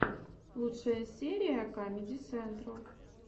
лучшая серия камеди сентрал